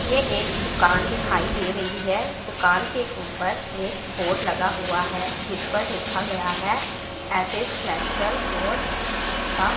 ये एक दुकान दिखाई दे रही है दुकान के ऊपर एक बोर्ड लगा हुआ है जिस पर लिखा गया है एस_एस नेचुरल और उसका--